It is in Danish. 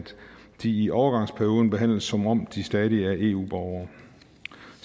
de i overgangsperioden behandles som om de stadig er eu borgere